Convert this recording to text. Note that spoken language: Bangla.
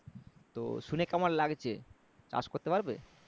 তো শুনে কেমন লাগছে চাষ করতে পারবে?